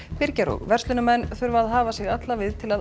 byrgjar og verslunarmenn þurfa að hafa sig alla við til að